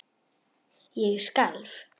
Ég skalf.